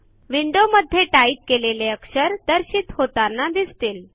window मध्ये type केलेले अक्षर दर्शित होताना दिसतील